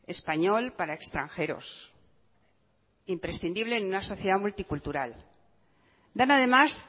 español para extranjeros imprescindible en una sociedad multicultural dan además